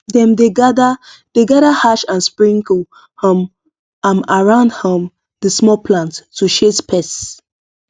dem dey gather dey gather ash and sprinkle um am round um the small plants to chase pests